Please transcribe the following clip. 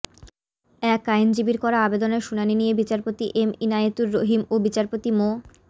এক আইনজীবীর করা আবেদনের শুনানি নিয়ে বিচারপতি এম ইনায়েতুর রহিম ও বিচারপতি মো